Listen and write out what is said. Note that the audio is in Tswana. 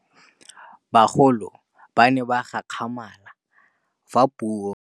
Bagolo ba ne ba gakgamala fa Pusô e fedisa thutô ya Bodumedi kwa dikolong.